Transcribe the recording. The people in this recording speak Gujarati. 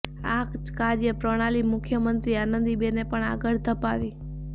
આ જ કાર્ય પ્રણાલી મુખ્યમંત્રી આનંદીબેને પણ આગળ ધપાવી